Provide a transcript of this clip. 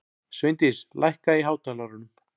Sveindís, lækkaðu í hátalaranum.